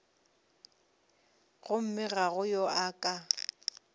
gomme ga go yo a